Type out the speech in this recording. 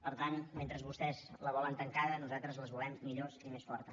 per tant mentre vostès les volen tancades nosaltres les volem millors i més fortes